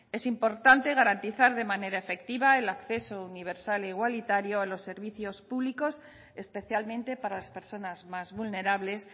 es importante garantizar de manera efectiva el acceso universal e igualitario a los servicios públicos especialmente para las personas más vulnerables